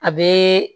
A bɛ